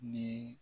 Ni